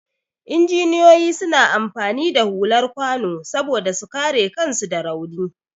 Injiniyoyi suna amfani da hular kwano saboda su kare kansu da rauni.